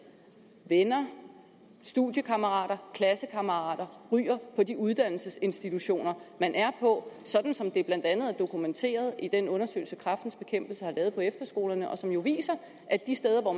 venner studiekammerater klassekammerater ryger på de uddannelsesinstitutioner man er på sådan som det blandt andet er dokumenteret i den undersøgelse kræftens bekæmpelse har lavet på efterskolerne og som jo viser at de steder hvor